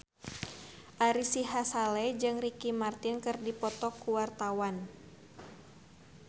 Ari Sihasale jeung Ricky Martin keur dipoto ku wartawan